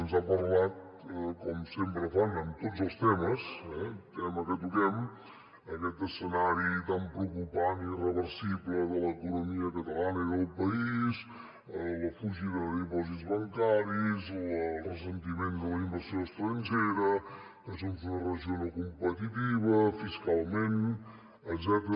ens ha parlat com sempre fan amb tots els temes eh tema que toquem aquest escenari tan preocupant i irreversible de l’economia catalana i del país la fugida de dipòsits bancaris el ressentiment de la inversió estrangera que és una regió no competitiva fiscalment etcètera